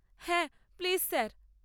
হ্যাঁ, please sir.